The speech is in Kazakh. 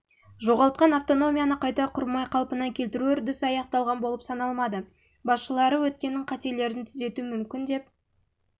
жоғалтқан автономияны қайта құрмай қалпына келтіру үрдісі аяқталған болып саналмады басшылары өткеннің қателерін түзету мүмкін деп